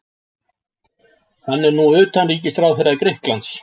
Hann er nú utanríkisráðherra Grikklands.